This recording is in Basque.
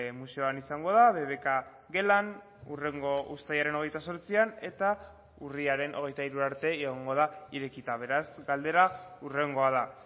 museoan izango da bbk gelan hurrengo uztailaren hogeita zortzian eta urriaren hogeita hiru arte egongo da irekita beraz galdera hurrengoa da